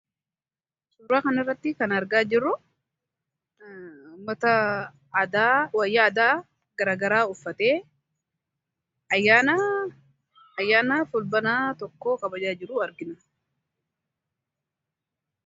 Suuraa kanarratti kan argaa jirru uummata wayyaa aadaa gara garaa uffatee ayyaana fulbaana tokkoo kabajaa jiru argina.